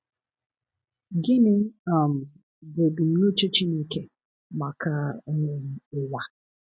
Gịnị um bụ ebumnuche Chineke maka um ụwa?